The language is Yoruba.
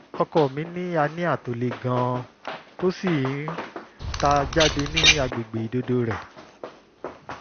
ọkọ mi ní hernia tó le gan-an tó sì ń ta jáde ní àgbègbè ìdodo rẹ̀